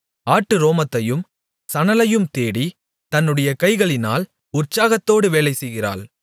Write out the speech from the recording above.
ஆட்டு ரோமத்தையும் சணலையும் தேடி தன்னுடைய கைகளினால் உற்சாகத்தோடு வேலைசெய்கிறாள்